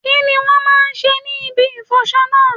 Kí ni wón máa ń ṣe ní ibi ìfọ'ṣọ náà?